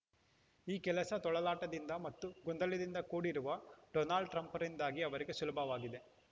ಈ ಕೆಲಸ ತೊಳಲಾಟದಿಂದ ಮತ್ತು ಗೊಂದಲದಿಂದ ಕೂಡಿರುವ ಡೊನಾಲ್ಡ್‌ ಟ್ರಂಪ್‌ರಿಂದಾಗಿ ಅವರಿಗೆ ಸುಲಭವಾಗಿದೆ